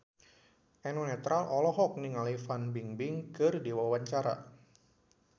Eno Netral olohok ningali Fan Bingbing keur diwawancara